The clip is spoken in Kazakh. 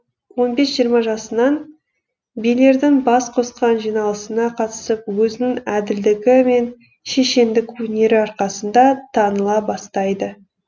он бес жиырма жасынан билердің бас қосқан жиналысына қатысып өзінің әділдігі мен шешендік өнері арқасында таныла бастайды